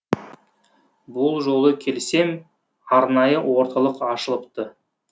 бұл жолы келсем арнайы орталық ашылыпты